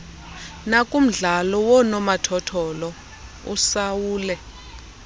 nakumdlalo woonomathotholo usaule